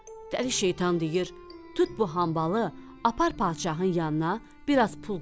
Dəli şeytan deyir, tut bu hambalı, apar padşahın yanına, biraz pul qır.